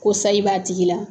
Ko sayi b'a tigi la